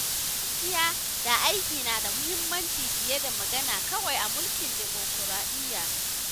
Gaskiya da aiki na da mahimmanci fiye da magana kawai a mulkin demokuraɗiyya.